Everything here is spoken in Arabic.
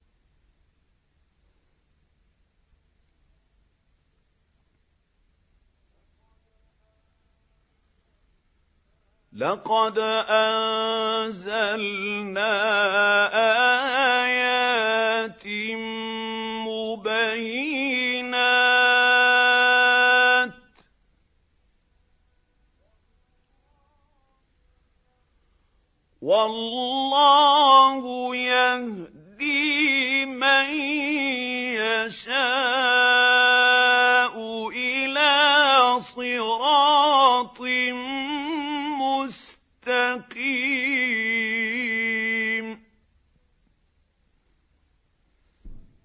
لَّقَدْ أَنزَلْنَا آيَاتٍ مُّبَيِّنَاتٍ ۚ وَاللَّهُ يَهْدِي مَن يَشَاءُ إِلَىٰ صِرَاطٍ مُّسْتَقِيمٍ